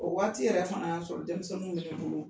O waati yɛrɛ fana y'a sɔrɔ denmisɛnninw bɛ bolo